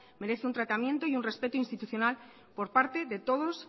merece un tratamiento y un respeto institucional por parte de todos